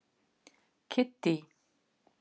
Kiddý